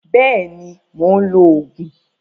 Bẹ́ẹ̀ni, mò ń lo Ògùn